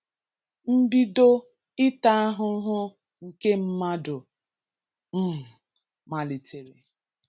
Mbido ịta ahụhụ nke mmadu um malitere.